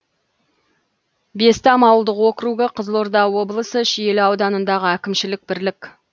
бестам ауылдық округі қызылорда облысы шиелі ауданындағы әкімшілік бірлік